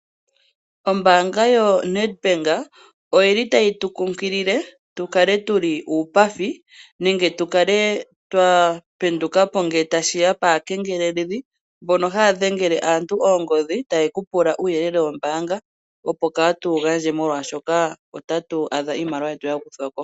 Ombaanga yoNedbank oyili tayi tu kunkilile, tukale tuli uupathi, nenge tukale twa penduka po ngele tashiya kaakengeleledhi mbono haya dhengele aantu oongodhi, taya pula aantu uuyelele wombaanga, opo kaatu wu gandje molwaashoka otatu adha iimaliwa yetu yakuthwako.